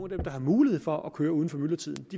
der har mulighed for at køre uden for myldretiden